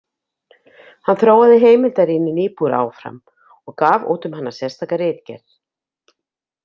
Hann þróaði heimildarýni Niebuhr áfram og gaf út um hana sérstaka ritgerð.